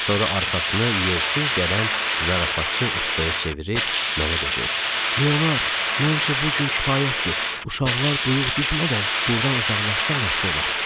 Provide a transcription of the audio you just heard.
Sonra arxasını yersiz gələn zarafatçı ustaya çevirib mənə dedi: "Leonard, məncə bu gün kifayətdir, uşaqlar duyuq düşmədən burdan uzaqlaşsaq yaxşı olar".